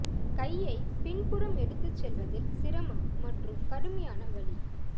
கையை பின் புறம் எடுத்து செல்வதில் சிரமம் மற்றும் கடுமையான வலி